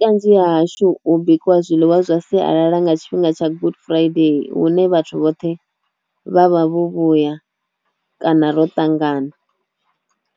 Kanzhi ha hashu bikiwa zwiḽiwa zwa sialala nga tshifhinga tsha good friday hune vhathu vhoṱhe vha vha vho vhuya kana ro tangana